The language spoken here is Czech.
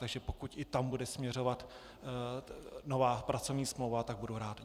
Takže pokud i tam bude směřovat nová pracovní smlouva, tak budu rád.